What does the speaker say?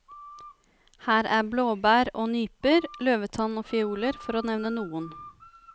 Her er blåbær og nyper, løvetann og fioler, for å nevne noen.